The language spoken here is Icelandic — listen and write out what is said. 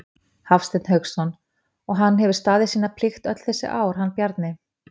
Hafsteinn Hauksson: Og hann hefur staðið sína plikt öll þessi ár, hann Bjarni?